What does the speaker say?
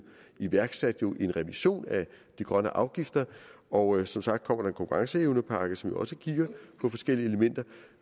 iværksat en revision af de grønne afgifter og som sagt konkurrenceevnepakke som jo også kigger på forskellige elementer